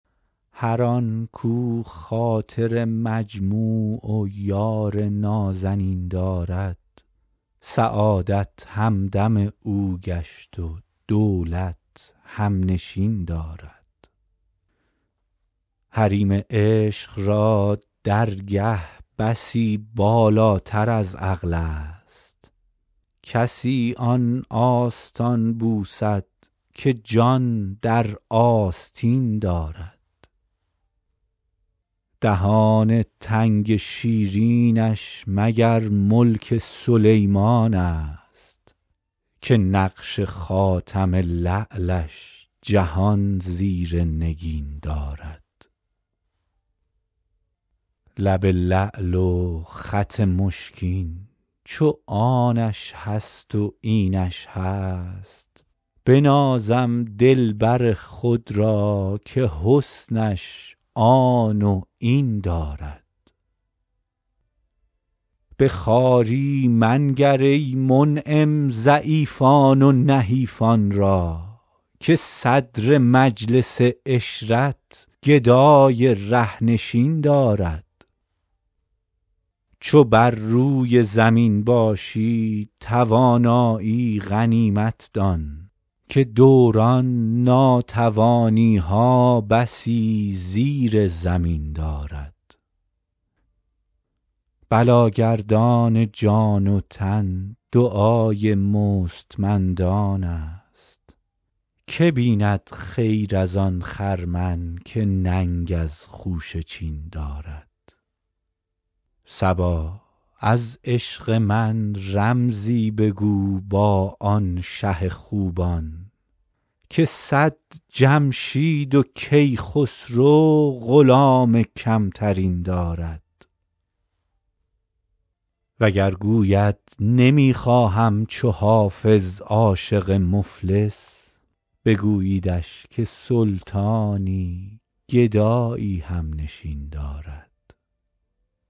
هر آن کاو خاطر مجموع و یار نازنین دارد سعادت همدم او گشت و دولت هم نشین دارد حریم عشق را درگه بسی بالاتر از عقل است کسی آن آستان بوسد که جان در آستین دارد دهان تنگ شیرینش مگر ملک سلیمان است که نقش خاتم لعلش جهان زیر نگین دارد لب لعل و خط مشکین چو آنش هست و اینش هست بنازم دلبر خود را که حسنش آن و این دارد به خواری منگر ای منعم ضعیفان و نحیفان را که صدر مجلس عشرت گدای ره نشین دارد چو بر روی زمین باشی توانایی غنیمت دان که دوران ناتوانی ها بسی زیر زمین دارد بلاگردان جان و تن دعای مستمندان است که بیند خیر از آن خرمن که ننگ از خوشه چین دارد صبا از عشق من رمزی بگو با آن شه خوبان که صد جمشید و کیخسرو غلام کم ترین دارد وگر گوید نمی خواهم چو حافظ عاشق مفلس بگوییدش که سلطانی گدایی هم نشین دارد